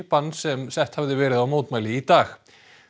bann sem sett hafði verið á mótmæli í dag